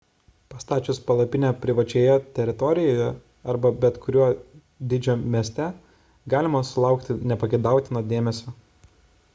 pastačius palapinę privačioje teritorijoje arba bet kurio dydžio mieste galima sulaukti nepageidautino dėmesio